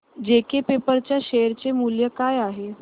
JK paper च्या share चे मूल्य काय आहे